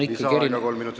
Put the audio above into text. Lisaaeg kolm minutit.